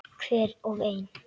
Hver og ein.